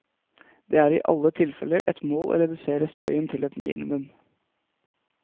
Det er i alle tilfeller et mål å redusere støyen til et minimum.